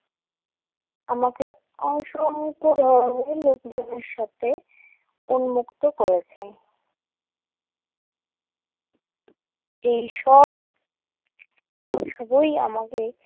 আমাকে অসংখ্য ধরণের লোকজনের সাথে উন্মুক্ত করেছেন। এইসব সবই আমাদের